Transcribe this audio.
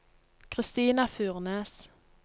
Christina Furnes